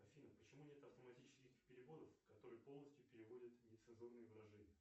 афина почему нет автоматических переводов которые полностью переводят нецензурные выражения